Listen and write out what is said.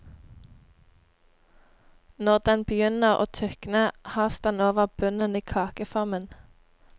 Når den begynner å tykne, has den over bunnen i kakeformen.